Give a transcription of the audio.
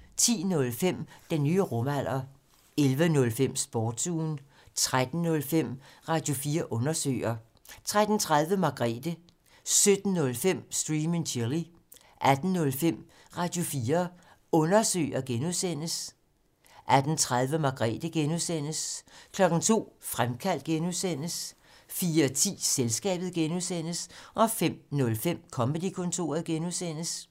10:05: Den nye rumalder 11:05: Sportsugen 13:05: Radio4 Undersøger 13:30: Margrethe 17:05: Stream and Chill 18:05: Radio4 Undersøger (G) 18:30: Margrethe (G) 02:00: Fremkaldt (G) 04:10: Selskabet (G) 05:05: Comedy-kontoret (G)